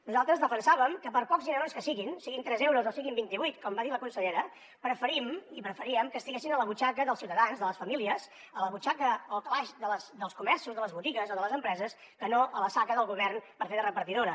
nosaltres defensàvem que per pocs dinerons que siguin siguin tres euros o siguin vint i vuit com va dir la consellera preferim i preferíem que estiguessin a la butxaca dels ciutadans de les famílies a la butxaca o al calaix dels comerços de les botigues o de les empreses que no a la saca del govern per fer de repartidora